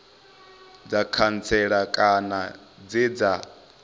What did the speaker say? dza khantsela kana dze dza